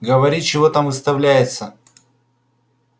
говори чего там выставляется